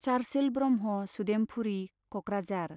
Churchill Brahma Sudempuri , Kokrajhar